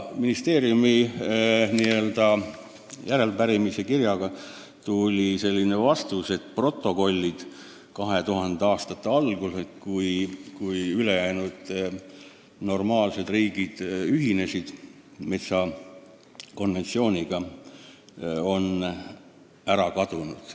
Ministeeriumi saadetud järelepärimiskirjale tuli selline vastus, et protokollid 2000. aastate alguse arutelude kohta – just siis ülejäänud normaalsed riigid ühinesid Euroopa Metsainstituudi konventsiooniga – on ära kadunud.